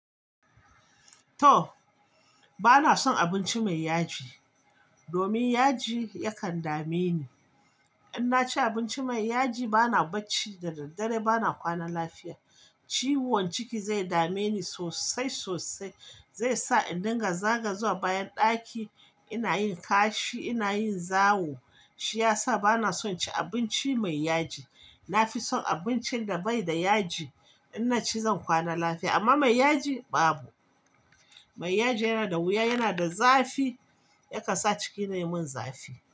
To, bana son abinci mai yaji, domin yaji yakan dame ni. In na ci abinci mai yaji bana barci da daddare bana kwana lafiya. Ciwon ciki zai dame ni sosai sosai, zai sa in dinga zaga zuwa bayan ɗaki ina yin kashi ina yin zawo. Shi ya sa bana son ci abinci mai yaji. Na fi son abincin da bai da yaji. In na ci zan kwana lafiya, amma mai yaji babu. Mai yaji yana da wuya, yana da zafi, yakan sa ciki na yayi mun zafi.